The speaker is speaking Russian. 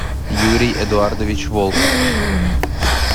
юрий эдуардович волков